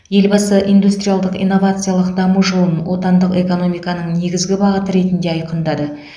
елбасы индустриалдық инновациялық даму жолын отандық экономиканың негізгі бағыты ретінде айқындады